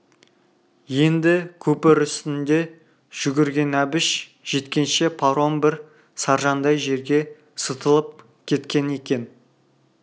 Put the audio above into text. енді көпір үстінде жүгірген әбіш жеткенше паром бір саржандай жерге сытылып кеткен екен